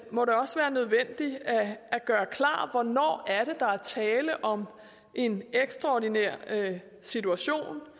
må det også være nødvendigt at gøre klart hvornår der er tale om en ekstraordinær situation